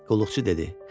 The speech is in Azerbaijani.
Qulluqçu dedi: